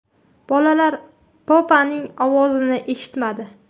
Bolalar Poppa’ning ovozini eshitmadi.